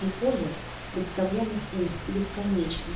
и поле представлялось им бесконечно